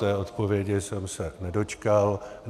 Té odpovědi jsem se nedočkal.